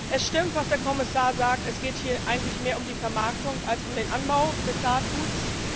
Es stimmt, was der Kommissar sagt Es geht hier eigentlich mehr um die Vermarktung als um den Anbau des Saatguts.